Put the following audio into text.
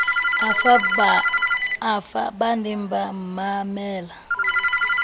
afa ba ne ba mmamela